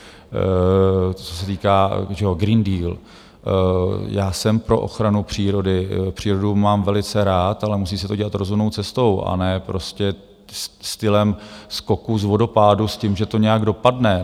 Co se týká - Green Deal, já jsem pro ochranu přírody, přírodu mám velice rád, ale musí se to dělat rozumnou cestou a ne prostě stylem skoku z vodopádu s tím, že to nějak dopadne.